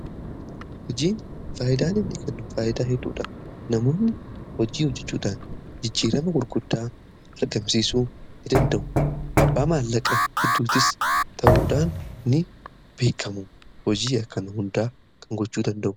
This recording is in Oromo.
hojiin faayidaan inni kennu faayidaa hedduudha. namoonni hojii hojjechuudhaan jijjiirama gurguddaa argamsiisuu ni danda'u. abbaa maallaqa hedduutis ta'uudhaan ni beekamu. hojii akkanaa hunda kan gochuu danda'u